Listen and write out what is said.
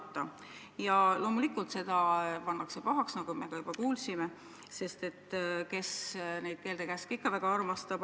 Seda pannakse loomulikult pahaks, nagu me ka juba kuulsime, sest kes neid keelde-käske ikka väga armastab.